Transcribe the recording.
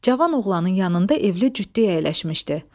Cavan oğlanın yanında evli cütlük əyləşmişdi.